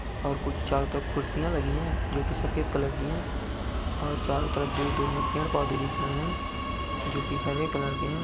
और कुछ चारों तरफ कुरसिया लगी है जोकि सफेद कलर की है और चारों तरफ दूर-दूर मे पेड़-पौधे दिख रहे है जो की हरे कलर के है।